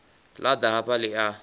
ḽa ḓa hafha ḽi a